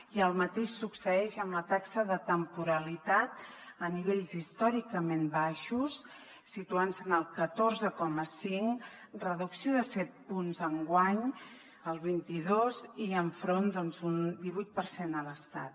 i el mateix succeeix amb la taxa de temporalitat a nivells històricament baixos situant se en el catorze coma cinc reducció de set punts enguany el vint dos i enfront d’un divuit per cent a l’estat